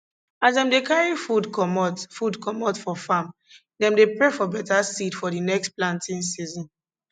as dem dey carry food comot food comot for farm dem dey pray for better seed for d next planting season